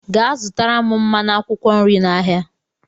Gaa zụtara m mmanụ akwụkwọ nri n'ahịa!